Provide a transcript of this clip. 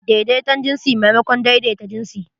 Daidaiton jinsi maimakon daidaita jinsi.